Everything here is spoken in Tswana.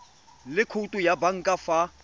le khoutu ya banka fa